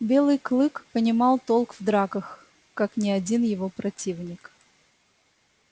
белый клык понимал толк в драках как ни один его противник